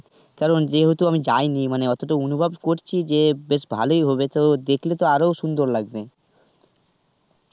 কারণ যেহেতু আমি যায়নি মানে অতটা অনুভব করছি যে বেশ ভালোই হবে তো দেখলে তো আরোই সুন্দর লাগবে.